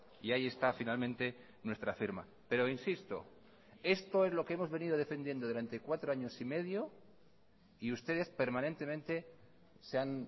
y ahí está finalmente nuestra firma pero insisto esto es lo que hemos venido defendiendo durante cuatro años y medio y ustedes permanentemente se han